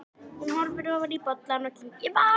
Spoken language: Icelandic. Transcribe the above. Hún horfði ofan í bollann og kinkaði kolli.